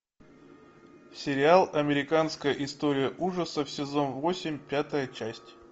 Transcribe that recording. сериал американская история ужасов сезон восемь пятая часть